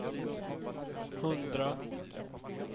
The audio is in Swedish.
hundra